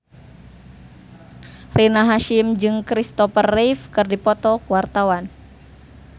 Rina Hasyim jeung Kristopher Reeve keur dipoto ku wartawan